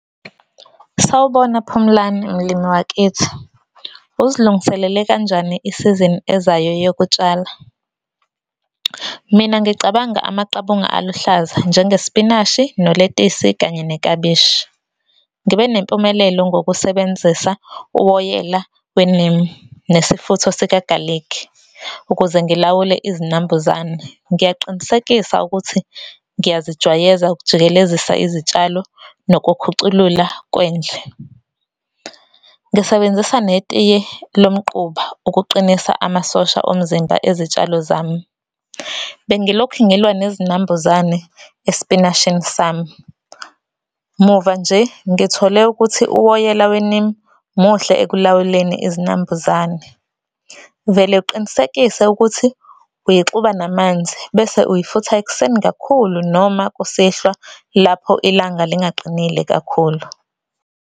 Sawubona Phumlani, mlimi wakithi. Uzilungiselele kanjani i-season ezayo yokutshala? Mina ngicabanga amaqabunga aluhlaza njengespinashi, noletisi, kanye neklabishi. Ngibe nempumelelo ngokusebenzisa uwoyela we-neem nesifutho sikagalikhi ukuze ngilawule izinambuzane. Ngiyaqinisekisa ukuthi ngiyazijwayeza ukujikelezisa izitshalo nokukhuculula kwendle. Ngisebenzisa netiye lomquba ukuqinisa amasosha omzimba ezitshalo zami. Bengilokhu ngilwa nezinambuzane espinashini sami. Muva nje ngithole ukuthi uwoyela we-neem muhle ekulawuleni izinambuzane. Vele uqinisekise ukuthi uyixuba namanzi bese uyifutha ekuseni kakhulu noma kusihlwa, lapho ilanga lingaqinile kakhulu.